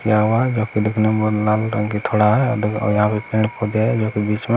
यह वह काफी दिखने में बहुत लाल रंग की थोड़ा है और यहाँ पर पेड़ पौधे है जो की बीच में--